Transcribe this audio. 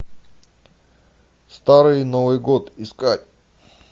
старый новый год искать